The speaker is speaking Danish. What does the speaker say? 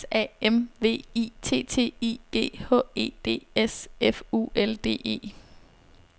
S A M V I T T I G H E D S F U L D E